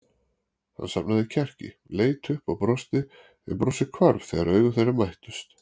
Hann safnaði kjarki, leit upp og brosti en brosið hvarf þegar augu þeirra mættust.